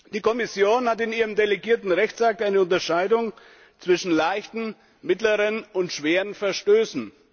Die Kommission macht in ihrem delegierten Rechtsakt eine Unterscheidung zwischen leichten, mittleren und schweren Verstößen.